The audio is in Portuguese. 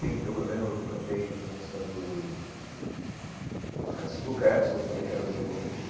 Sim, eu eu lembro que eu cantei uma música do... do Renan Sosbo Cleps, que eu falei que era o meu conjunto.